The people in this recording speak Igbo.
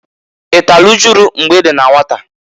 I talụ ujulu mgbe i dị na nwata?